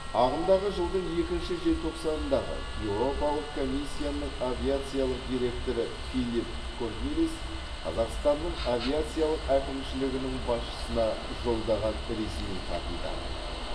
ағымдағы жылдың екінші желтоқсанындағы еуропалық комиссияның авиациялық директоры филипп корнелис қазақстанның авиациялық әкімшілігінің басшысына жолдаған ресми хатында